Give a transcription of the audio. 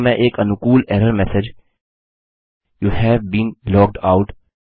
यहाँ मैं एक अनुकूल error message you've been logged out